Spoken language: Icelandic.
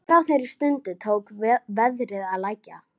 Síðan hefur aldur fleiri Íslendingasagna verið tekinn til endurskoðunar.